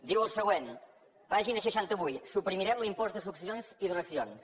diu el següent pàgina seixanta vuit suprimirem l’impost de successions i donacions